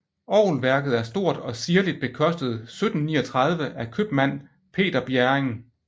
Orgelværket er stort og ziirligt bekostet 1739 af købmand Peder Bjerring